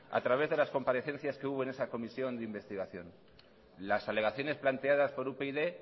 a través de las comparecencias que hubo en esa comisión de investigación las alegaciones planteadas por upyd